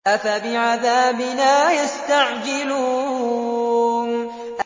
أَفَبِعَذَابِنَا يَسْتَعْجِلُونَ